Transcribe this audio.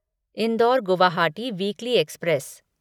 indoor Guwahati weekly express